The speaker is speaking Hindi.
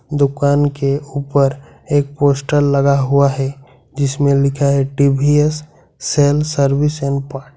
दुकान के ऊपर एक पोस्टर लगा हुआ है जिसमें लिखा है TVS sale service and part.